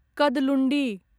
Kadalundi